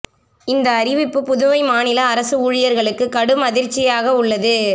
இந்த அறிவிப்பு புதுவை மாநில அரசு ஊழியர்களுக்கு கடும் அதிர்ச்சியாக உள்ளது